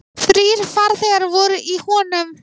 Þrír farþegar voru í honum.